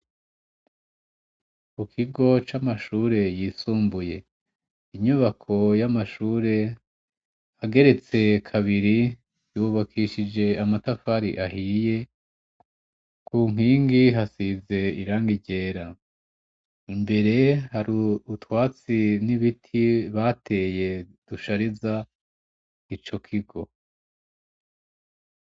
Mu kigo c'amashure yisumbuye, Inyubako y'amashure ageretse kabiri yubakishije amatafari ahiye ku nkingi hasize irangi ryera imbere hari utwatsi n'ibiti bateye dushariza ico kigo.